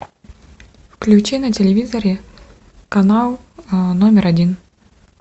включи на телевизоре канал номер один